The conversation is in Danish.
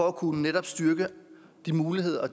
at kunne styrke de muligheder og